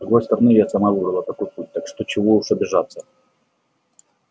с другой стороны я сама выбрала такой путь так что чего уж обижаться